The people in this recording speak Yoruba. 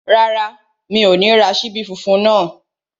Rárá, mi ò ní ra ṣíbí funfun náà